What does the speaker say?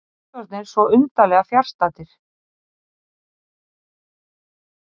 Fullorðnir svo undarlega fjarstaddir.